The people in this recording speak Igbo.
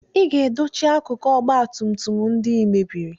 Ị ga-edochi akụkụ ọgba tum tum ndị I mebiri!